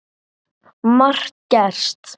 Margt gerst.